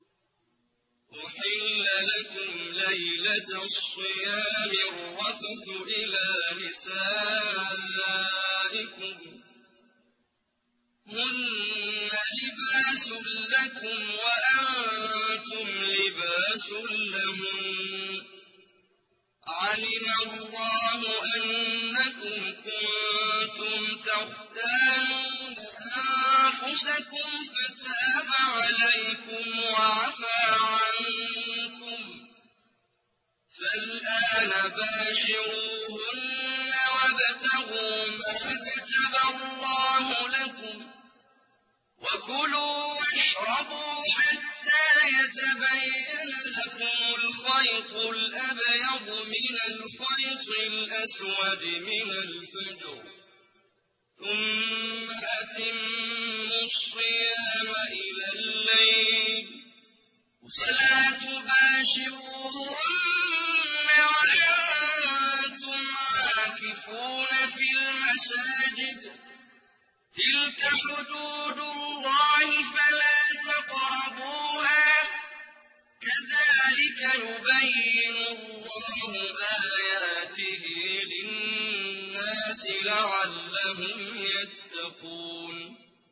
أُحِلَّ لَكُمْ لَيْلَةَ الصِّيَامِ الرَّفَثُ إِلَىٰ نِسَائِكُمْ ۚ هُنَّ لِبَاسٌ لَّكُمْ وَأَنتُمْ لِبَاسٌ لَّهُنَّ ۗ عَلِمَ اللَّهُ أَنَّكُمْ كُنتُمْ تَخْتَانُونَ أَنفُسَكُمْ فَتَابَ عَلَيْكُمْ وَعَفَا عَنكُمْ ۖ فَالْآنَ بَاشِرُوهُنَّ وَابْتَغُوا مَا كَتَبَ اللَّهُ لَكُمْ ۚ وَكُلُوا وَاشْرَبُوا حَتَّىٰ يَتَبَيَّنَ لَكُمُ الْخَيْطُ الْأَبْيَضُ مِنَ الْخَيْطِ الْأَسْوَدِ مِنَ الْفَجْرِ ۖ ثُمَّ أَتِمُّوا الصِّيَامَ إِلَى اللَّيْلِ ۚ وَلَا تُبَاشِرُوهُنَّ وَأَنتُمْ عَاكِفُونَ فِي الْمَسَاجِدِ ۗ تِلْكَ حُدُودُ اللَّهِ فَلَا تَقْرَبُوهَا ۗ كَذَٰلِكَ يُبَيِّنُ اللَّهُ آيَاتِهِ لِلنَّاسِ لَعَلَّهُمْ يَتَّقُونَ